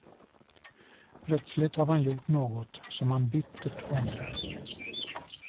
Plötsligt har man gjort något som man bittert ångrar.